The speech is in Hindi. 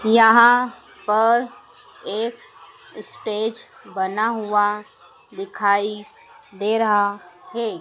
यहां पर एक स्टेज बना हुआ दिखाई दे रहा है।